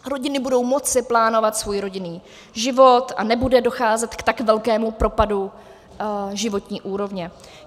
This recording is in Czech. Rodiny budou moci plánovat svůj rodinný život a nebude docházet k tak velkému propadu životní úrovně.